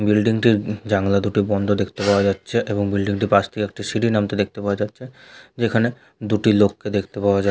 Building -টির উ জানলা দুটো বন্ধ দেখতে পাওয়া যাচ্ছে এবং বিল্ডিং -টির পাশ দিয়ে সিঁড়ি নামতে দেখতে পাওয়া যাচ্ছে । যেখানে দুটি লোককে দেখতে পাওয়া যাছ--